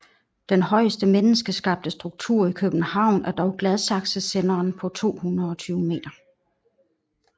Den højeste menneskeskabte struktur i København er dog Gladsaxesenderen på 220 meter